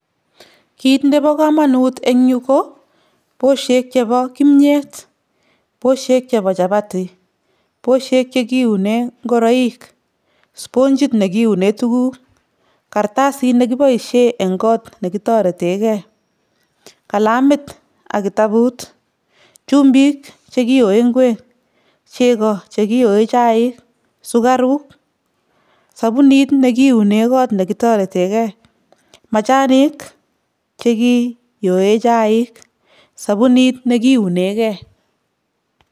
Kiit nebo komonut eng yu ko, bosheek chebo kimnyet, bosheek chebo chapati, bosheek che kiune ngoroik, sponjit ne kiune tukuuk, kartasit ne kiboisie eng goot ne kitoretekei, kalamit ak kitabut, chumbik che kioe ngweek, chego che kioe chaik, sukaruk, sabunit ne kiune goot ne kitoretekei, machanik che kioe chaik, sabunit ne kiunekei.